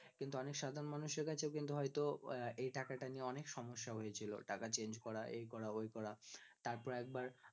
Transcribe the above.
কিন্তু অনেক সাধারণ মানুষের কাছে কিন্তু হয়তো এই টাকা টা নিয়ে অনেক সমস্যা হয়েছিল টাকা change করো এই করো ওই করো তারপরে একবার